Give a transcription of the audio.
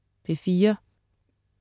P4: